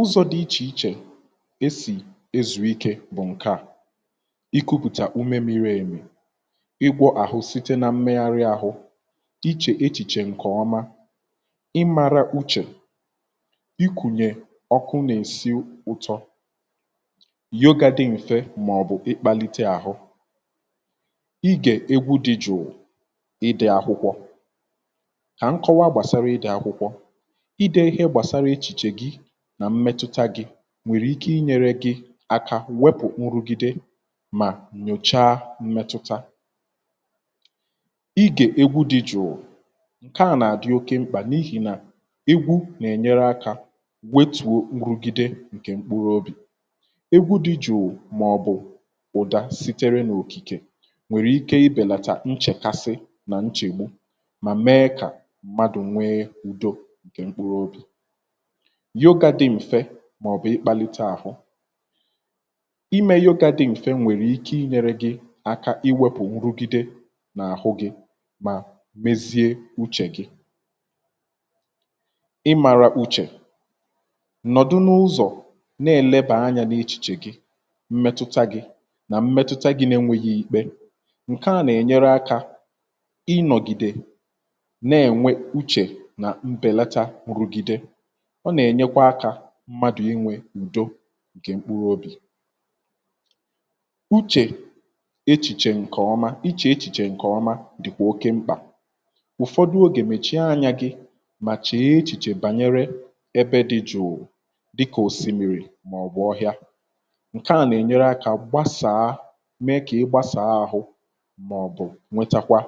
ụzọ̇ dị ichè ichè e sì ezù ike bụ̀ ǹke à um ikupùtà ume miri èmì ịgwọ̇ àhụ site na mmegharị ahụ ichè echìchè ǹkè ọma ịmara uchè um ikùnyè ọkụ nà-èsi ụtọ yogȧ dị m̀fe mà ọ̀ bụ̀ ịkpȧlite àhụ ịgè egwu dị jùù ịdị̇ akwụkwọ kà nkọwa gbàsara ịdị̇ akwụkwọ nà mmetụta gị nwèrè ike inyere gị aka um wepù nrụgide mà nnyòchàa mmetụta igè egwu dị jụụ um ǹke a nà-àdị oke mkpà n’ihì nà egwu nà-ènyere akȧ um gweetù nrụgide ǹkè mkpụrụ obì egwu dị jụụ màọ̀bụ̀ ụ̀dà sitere n’òkìkè nwèrè ike ịbèlàtà nchèkasị nà nchègbu mà mee kà mmadụ̀ nwee ụ̀dọ yogȧ dị m̀fe màọ̀bụ̀ ịkpàlite àhụ um imė yogȧ dị m̀fe nwèrè ike inyėrė gị aka iwepù nrugide nà àhụ gị mà mezie uchè gị ị màrà uchè nọ̀dụ n’ụzọ̀ um na-elebà anya n’ichìchè gị mmetụta gị nà mmetụta gị̇ um n’enweghị̇ ìkpe ǹke à nà-ènyere akȧ inọ̀gide na-enwe uchè nà mbelata rugide mmadụ̀ inwè udo ǹkè mkpụrụ obì uchè echìchè ǹkè ọma ichè echìchè ǹkè ọma dị̀ kwa oke mkpà ụ̀fọdụ ogè um mèchie anyȧ gị̇ mà chèe echìchè bànyere ebe dị jụ̀ụ um dịkà òsìmìrì màọ̀bụ̀ ọhịa ǹkè a nà-enyere akȧ gbasàa mee kà ị gbasàa ahụ̇ màọ̀bụ̀ nwetàkwa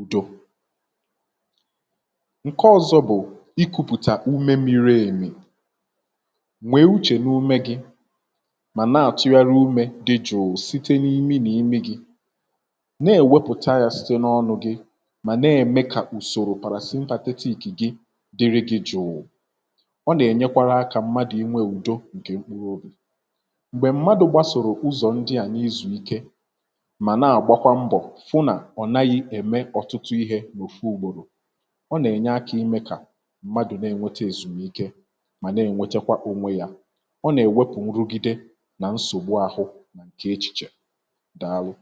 udo nwee uchè n’ume gi mà na-àtụyara umė dị jụụ site n’imi nà ime gi na-èwepụ̀ta ya site n’ọnụ̇ gi mà na-ème kà ùsòrò pàrà simpatite ikì gi dịrị gị jụụ um ọ nà-ènyekwara akȧ mmadụ̀ inwė ùdo um ǹkè mkpụrụ obì m̀gbè mmadụ̀ gbasòrò ụzọ̀ ndị ànyị zụ̀rụ ike mà na-àgbakwa mbọ̀ fụ nà ọ̀ naghị ème ọtụtụ ihė n’ùfu ùgbòrò ọ nà-èwepụ̀ nrugide nà nsògbu ahụ̇ nà ǹkè ichìchè um dàalụ